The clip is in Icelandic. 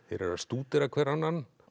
eru að stúdera hver annan